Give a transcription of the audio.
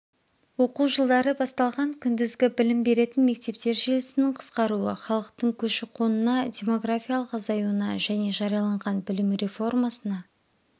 оқу жылдары басталған күндізгі білім беретін мектептер желісінің қысқаруы халықтың көші-қонына демографиялық азаюына және жарияланған білім реформасына